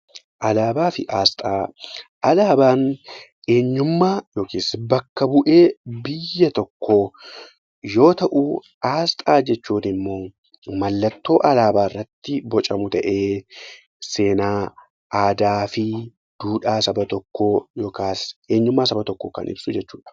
Alaabaa fi asxaa Alaabaan eenyummaa akkasumas bakka bu'ee biyya tokkoo yoo ta'u, asxaa jechuun immoo mallattoo alaabaa irratti bocamu ta'ee seenaa, aadaa fi duudhaa saba tokkoo yookaan eenyummaa saba tokkoo kan ibsu jechuudha.